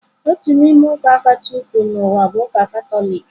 Otu n'ime ụka kacha ukwuu n'ụwa bụ ụka Katọlik.